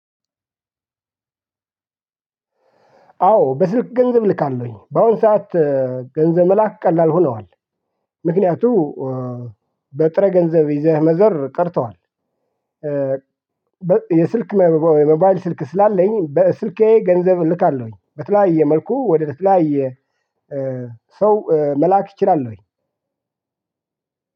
አዎ በስልክ ገንዘብ እልካለሁኝ በአሁን ሰዓት ገንዘብ መላክ ቀላል ሆነዋል። ምክንያቱም በጥሬ ገንዘብ ይዘህ መዞር ቀርቷል። የስልክ የሞባይል ስልክ ስላለኝ በስልኬ ገንዘብ እልካለሁኝ በተለያየ መልኩ ወደ ተለያየ ሰው መላክ እችላለሁኝ።